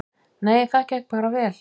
Nei, það gekk bara vel.